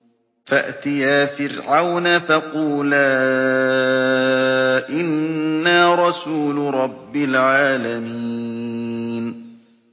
فَأْتِيَا فِرْعَوْنَ فَقُولَا إِنَّا رَسُولُ رَبِّ الْعَالَمِينَ